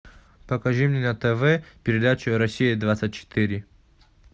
покажи мне на тв передачу россия двадцать четыре